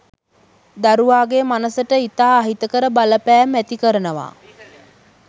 දරුවාගේ මනසට ඉතා අහිතකර බලපෑම් ඇති කරනවා.